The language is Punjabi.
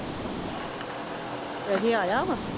ਡੈਡੀ ਆਇਆ ਵਾ